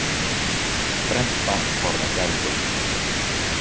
Brennt barn forðast eldinn.